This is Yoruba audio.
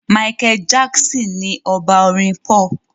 Michael Jackson ni ọba Orin pop.